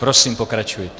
Prosím pokračujte.